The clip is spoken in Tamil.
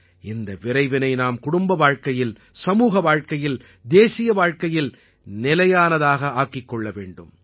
இந்த விரைவினை நாம் குடும்பவாழ்க்கையில் சமூக வாழ்க்கையில் தேசிய வாழ்க்கையில் நிலையானதாக்கிக் கொள்ள வேண்டும்